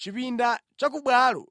Chipinda chakubwalo